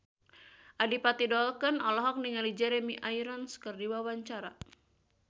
Adipati Dolken olohok ningali Jeremy Irons keur diwawancara